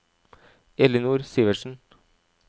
Ellinor Sivertsen